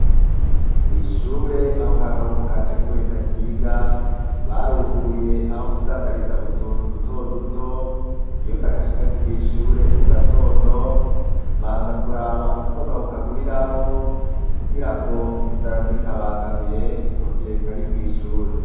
Kw'ishure aho ka gahungu kanje k'ubuheta kiga, baruguruye aho kudandariza utuntu dutoduto. Iyo ndagashikanye kw'ishure mu gatondo, mbanza kuraba utwo nokaguriraho, kugira ngo inzara ntikabangamire, mugihe kari mw'ishure.